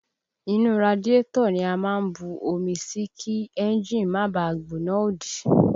Inú radiátọ̀ ni a máa ń bu omi sí kí ẹ́ńjì má bàá gbóná òdì